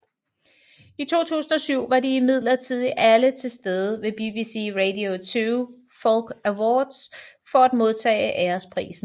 I 2007 var de imidlertid alle tilstede ved BBC Radio 2 Folk Awards for at modtage æresprisen